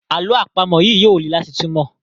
àlọ́ àpamọ̀ yí yóò lẹ láti túmọ.